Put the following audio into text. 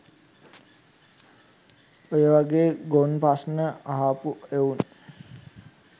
ඔය වගේ ගොන් ප්‍රශ්න අහපු එවුන්